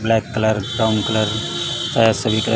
black colour brown colour colour --